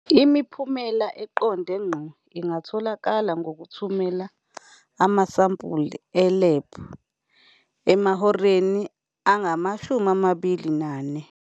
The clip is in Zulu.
Imiphumela eqonde ngqo ingatholakala ngokuthumela amasampula e-lab emahoreni angama-24.